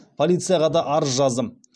полицияға да арыз жаздым